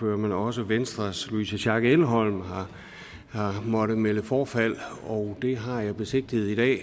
men også venstres louise schack elholm har måttet melde forfald det har jeg besigtiget i